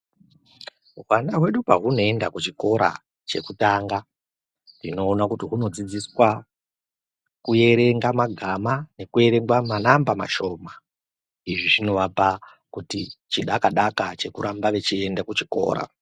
Hwana hwedu pahuno enda ku chikora che kutanga tinoona kuti huno dzidziswa ku erenga magama neku erenga manamba mashoma izvi zvino vapa kuti chidaka daka cheku ramba vechi enda ku chikora.